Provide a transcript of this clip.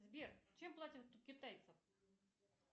сбер чем платят у китайцев